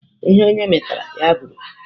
Ihe onye metara, ya bụrụ.